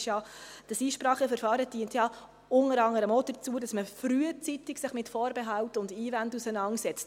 Das Einspracheverfahren dient unter anderem auch dazu, dass man sich frühzeitig mit Vorbehalten und Einwänden auseinandersetzt.